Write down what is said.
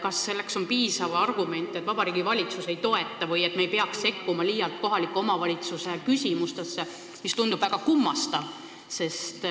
Kas piisav argument on see, et Vabariigi Valitsus eelnõu ei toeta, või me ei peaks liialt sekkuma kohaliku omavalitsuse küsimustesse – see tundub väga kummastav, sest